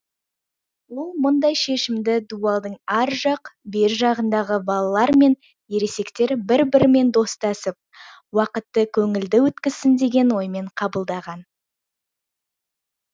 ол мұндай шешімді дуалдың ар жақ бер жағындағы балалар мен ересектер бір бірімен достасып уақытты көңілді өткізсін деген оймен қабылдаған